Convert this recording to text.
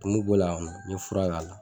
Tumu b'o la n ye fura k'a la